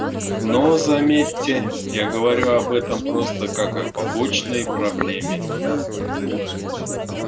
но заметьте я говорю об этом просто как о побочной проблеме